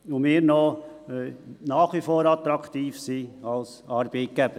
So sind wir nach wie vor attraktiv als Arbeitgeber.